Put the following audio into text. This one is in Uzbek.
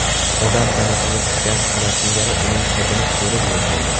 Odam tanasiga tushgan kana singari uning hidini so‘rib yashaydi.